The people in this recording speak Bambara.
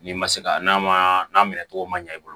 N'i ma se ka n'a ma n'a minɛ togo ma ɲɛ i bolo